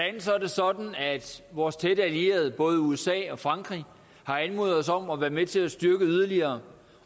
sådan at vores tætte allierede både usa og frankrig har anmodet os om at være med til at styrke yderligere